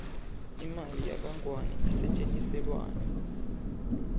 imali yakangluane isetjentiselwani